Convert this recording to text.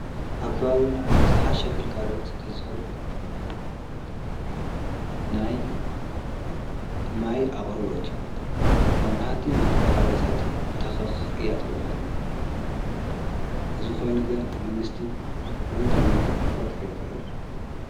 ኣብ ከባብዩና እስሓሽ ኣግልጋሎት ተዝሀሉ ናይ ማይ ኣቕርበት እዩ መብራህቲ እናተ ቖራረጸጥ ተኽኽ እያ ተብልአና እዝ ኾይኑ ግን መንግሥቲ ብምንታይ መልካዕ ክፈትሕይ ኽእል?